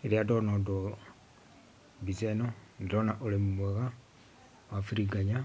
Rĩrĩa ndona ũndũ, mbica ĩno nĩndĩrona ũrĩmi mwega wa biriganya